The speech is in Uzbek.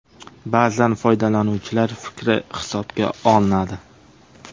Ba’zan foydalanuvchilar fikri hisobga olinadi.